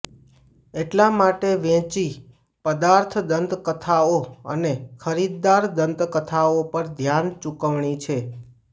એટલા માટે વેચી પદાર્થ દંતકથાઓ અને ખરીદદાર દંતકથાઓ પર ધ્યાન ચૂકવણી છે